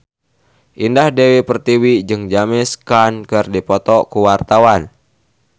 Indah Dewi Pertiwi jeung James Caan keur dipoto ku wartawan